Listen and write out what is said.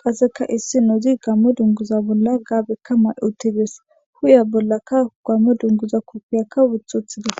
qasseka issi nozi gammo dunguza bolla gaabekka may7utides huya bollakka gammo dunguza koppiyakka wothothida